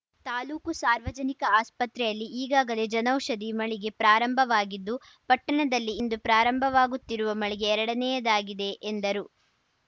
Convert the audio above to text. ತಾಲೂಕು ಸಾರ್ವಜನಿಕ ಆಸ್ಪತ್ರೆಯಲ್ಲಿ ಈಗಾಗಲೇ ಜನೌಷಧಿ ಮಳಿಗೆ ಪ್ರಾರಂಭವಾಗಿದ್ದು ಪಟ್ಟಣದಲ್ಲಿ ಇಂದು ಪ್ರಾರಂಭವಾಗುತ್ತಿರುವ ಮಳಿಗೆ ಎರಡನೆಯದಾಗಿದೆ ಎಂದರು